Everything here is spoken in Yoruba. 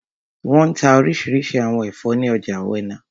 Wọ́n n ta orísirísi àwọn ẹ̀fọ́ ní ọjà ọ̀wẹnà